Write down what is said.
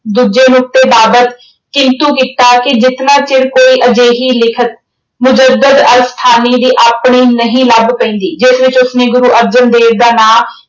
ਦੂਜੇ ਨੁਕਤੇ ਬਾਬਤ ਕਿੰਤੂ ਕੀਤਾ ਕਿ ਜਿਤਨਾ ਚਿਰ ਕੋਈ ਅਜਿਹੀ ਲਿਖਤ ਦੀ ਆਪਣੀ ਨਹੀਂ ਲੱਭ ਪੈਂਦੀ ਜਿਸ ਵਿੱਚ ਉਸਨੇ ਗੁਰੂ ਅਰਜਨ ਦੇਵ ਦਾ ਨਾਂ